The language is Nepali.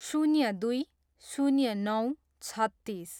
शून्य दुई, शून्य नौ, छत्तिस